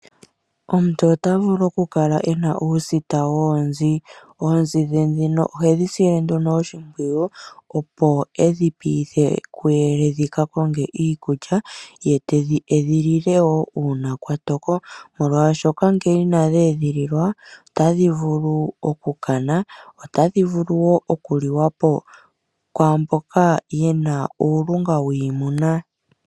Omuntu ota vulu oku kala e na uusita woonzi. Oonzi dhe ndhino ohedhi sile nduno oshimpwiyu opo edhi piithe kuyele dhi ka konge iikulya, ye te dhi edhilile wo uuna kwa toko molwaashoka ngele ina dhi edhilila otadhi vulu okukana, otadhi vulu woo okuliwa po kwaamboka yena uulunga wiimuna.